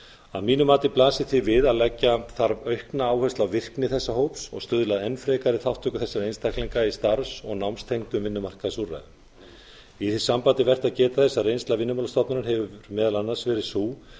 að mínu mati blasir því við að leggja þarf aukna áherslu á virkni þessa hóps og stuðla að enn frekari þátttöku þessara einstaklinga í starfs og námstengdum vinnumarkaðsúrræðum í því sambandi er vert að geta þess að reynsla vinnumálastofnunar hefur meðal annars verið sú